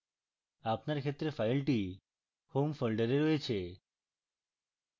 আপনার ক্ষেত্রে file home folder রয়েছে